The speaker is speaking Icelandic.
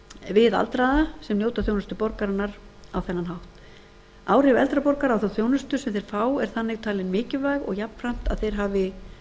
við aldraða sem njóta þjónustu borgarinnar á þennan hátt áhrif eldri borgara á þá þjónustu sem þeir fá er þannig talin mikilvæg og jafnframt að þeir hafi